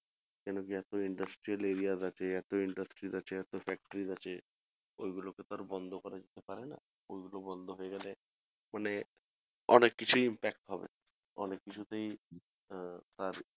কেন কি এত industrial arias আছে এত industries আছে এত factories আছে ঐগুলো কে তো আর বন্ধ করা যেতে পারেনা ঐগুলো বন্ধ হয়ে গেলে মানে অনেক কিছুই back হবে অনেক কিছু তেই আহ